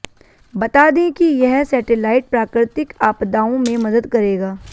बता दें कि यह सैटेलाइट प्राकृतिक आपदाओं में मदद करेगा